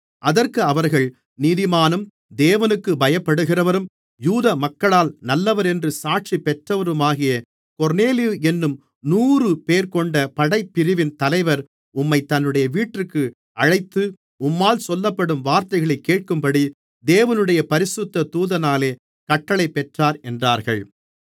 அதற்கு அவர்கள் நீதிமானும் தேவனுக்குப் பயப்படுகிறவரும் யூதமக்களால் நல்லவரென்று சாட்சி பெற்றவருமாகிய கொர்நேலியு என்னும் நூறுபேர்கொண்ட படைப்பிரிவின் தலைவர் உம்மைத் தன்னுடைய வீட்டிற்கு அழைத்து உம்மால் சொல்லப்படும் வார்த்தைகளைக் கேட்கும்படி தேவனுடைய பரிசுத்த தூதனாலே கட்டளை பெற்றார் என்றார்கள்